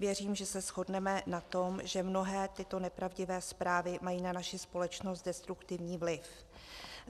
Věřím, že se shodneme na tom, že mnohé tyto nepravdivé zprávy mají na naši společnost destruktivní vliv.